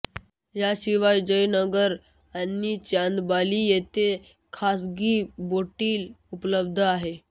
याशिवाय जयनगर आणि चांदबाली येथे खासगी बोटीही उपलब्ध आहेत